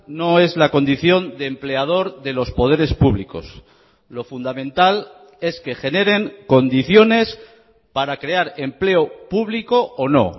no es la condición de empleador de los poderes públicos lo fundamental es que generen condiciones para crear empleo público o no